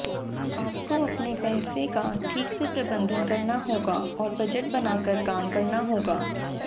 आपको अपने पैसे का ठीक से प्रबंधन करना होगा और बजट बनाकर काम करना होगा